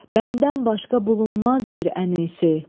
bəndən başqa bulunmaz bir ənisi.